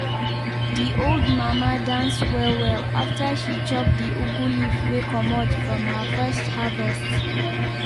de old mama dance well well after she chop de ugu leaf wey comot from her first harvest.